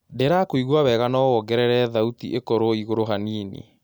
ndĩrakũĩgũa wega no wongerere thaũtĩĩkorwo ĩgũrũ hanĩnĩ